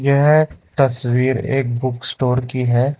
यह तस्वीर एक बुक स्टोर की है।